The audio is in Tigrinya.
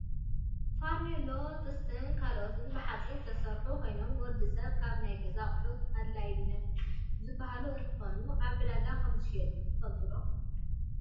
ፋርኖሎን ጥስትን ካልኦትን ብሓፂን ዝስርሑ ኮይኖም ንወዲ ሰብ ካብ ናይ ገዛ ኣቁሑት ኣድለይቲ ዝባሃሉ እንትኮኑ ኣብ ዕዳጋ ከም ዝሽየጡ ትፈልጡ ዶ ?